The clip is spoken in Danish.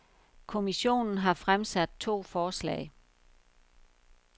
Kommissionen har fremsat to forslag.